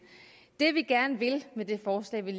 det vi gerne vil med det forslag vi